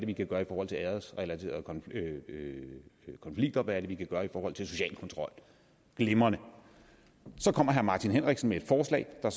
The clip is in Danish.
vi kan gøre i forhold til æresrelaterede konflikter og hvad det er vi kan gøre i forhold til social kontrol glimrende så kommer herre martin henriksen med et forslag der